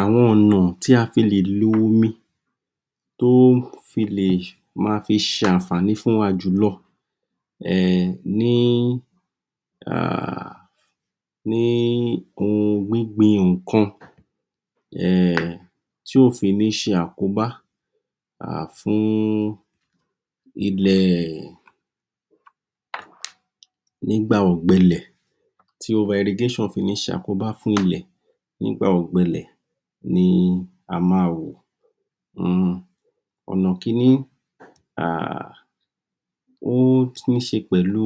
Àwọn ọ̀nà tí afi lè lo omi tó fi lè máa fí ṣe ànfààní fún wa jùlọ um ní a hh ní ohun gbígbin ohùn nkan. Um tí ò fí nì ṣe àkóbá fún ilẹ̀ nígbà ọ̀gbẹlẹ̀ tí ẹrigésàn ò fi ní sàkóbá fún ilẹ̀ nígbà ọ̀gbẹlẹ̀ ni a má wò. Ọ̀nà kíní, ó tún ùn ṣe pẹ̀lú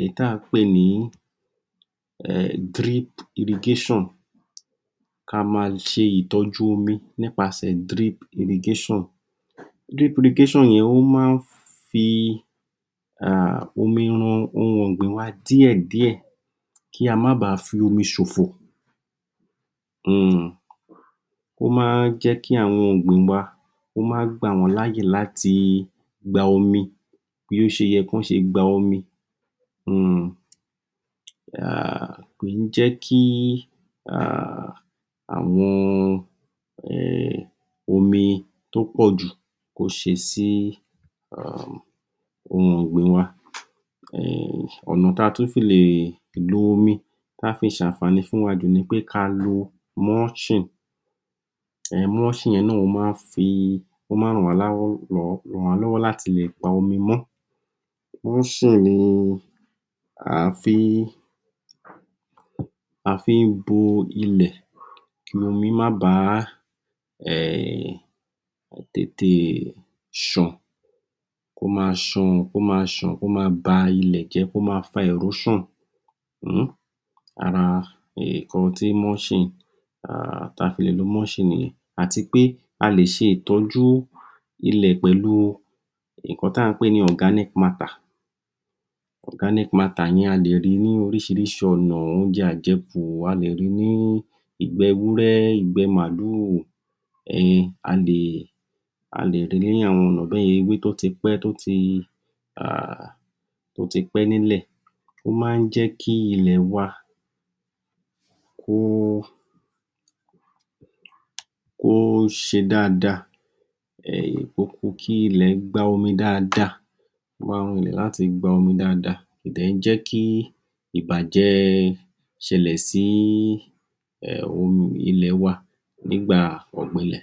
èyí tí à ùn pè ní díríp irigáṣàn, káá máa ṣe ìtọ́jú omi nípa ṣẹ díríp irigáṣàn. Díríp irigáṣàn yẹn ó má ń fi omi rin ohùn ọ̀gbìn wà díẹ̀díẹ̀ kí a má bá à fi omi sòfò. umm Ó má ń jẹ́kí àwọn ọ̀gbìn wà kó máa gbà wọ́n láàyè láti gba omi bí ó ṣe yẹ kí wón ṣe gba omi.um kìí jẹ́kí ahh àwon omi tó pọ́ọ̀jù kó ṣe sí ohùn ọ̀gbìn wa. Ọ̀nà ta tún fi lè lo omi tí á fi ṣe ànfààní fún wa jù nipé káa lo múṣìn. Múṣìn yẹn náà máa ń fí? Ó má ránwàlọ́wọ́ láti leè pa omi mó. Múṣìn ní à fí ń bo ile kí omi ó má bàa tètè sán. Kó máa sàn, kó máa sàn, kó máa bàa ilẹ̀ jẹ́, kó máa fa ẹ̀róṣàn ara ìkan ti tá a fi le lo múṣìn ní yẹn. Àtipé a lè ṣe ìtọ jú ilẹ̀ pẹ̀lú ìkan tí à ń pè ní ọ̀gáníc maatà, organic matter yẹn a lè rii ní oríṣiríṣi ọ̀nà, óuńjẹ àjẹkù, a lè rí ní ìgbé erúré, ìgbé máàlù, a lè rii ní àwọn ọ̀nà báyẹn.ewé tó tipẹ́, tó tipẹ́ nílẹ̀, ó má n jẹ́kí ilẹ̀ wa. Kó Kó ṣe dáadáa, kí ilẹ̀ kó gbaa omi dáadáa, ó má ran lè láti gba omi dáadáa. Kò kí ń jẹ́kí ìbàjẹ́ ṣelẹ̀ sí ilẹ̀ waa nígbà ọ̀gbẹlẹ̀.